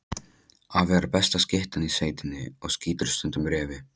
Afi er besta skyttan í sveitinni og skýtur stundum refi.